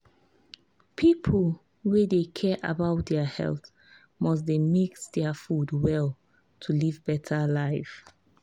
people wey dey care about their health must dey mix their food well to live better life.